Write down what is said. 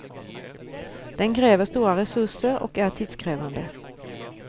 Den kräver stora resurser och är tidskrävande.